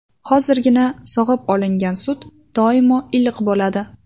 Hozirgina sog‘ib olingan sut doimo iliq bo‘ladi.